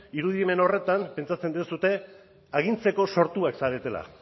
irudimen horretan pentsatzen duzue agintzeko sortuak zaretela